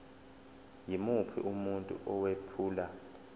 yimuphi umuntu owephula